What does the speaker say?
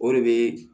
O de bɛ